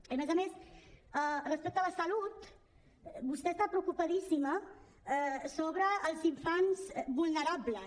i a més a més respecte a la salut vostè està preocupadíssima sobre els infants vulnerables